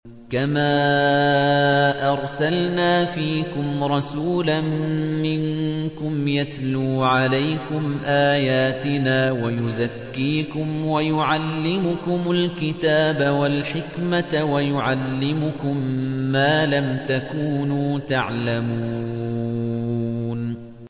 كَمَا أَرْسَلْنَا فِيكُمْ رَسُولًا مِّنكُمْ يَتْلُو عَلَيْكُمْ آيَاتِنَا وَيُزَكِّيكُمْ وَيُعَلِّمُكُمُ الْكِتَابَ وَالْحِكْمَةَ وَيُعَلِّمُكُم مَّا لَمْ تَكُونُوا تَعْلَمُونَ